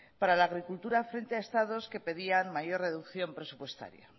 para la agricultura frente a estados que pedían mayor reducción presupuestaria